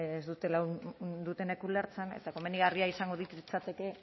ez dutenek ulertzen eta komenigarria izango litzateke